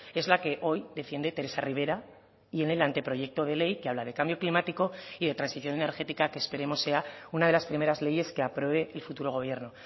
es la que hoy defiende teresa rivera y en el anteproyecto de ley que habla de cambio climático y de transición energética que esperemos sea una de las primeras leyes que apruebe el futuro gobierno